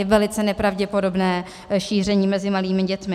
Je velice nepravděpodobné šíření mezi malými dětmi.